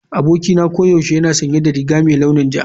Abokina koyaushe yana sanye da riga mai launin ja.